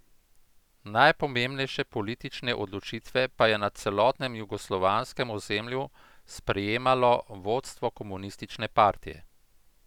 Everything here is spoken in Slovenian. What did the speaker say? Najpomembnejše politične odločitve pa je na celotnem jugoslovanskem ozemlju sprejemalo vodstvo komunistične partije.